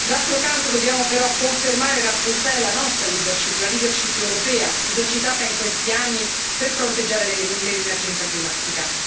D'altro canto, dobbiamo però confermare e rafforzare la nostra leadership, la leadership europea esercitata in questi anni per fronteggiare l'emergenza climatica.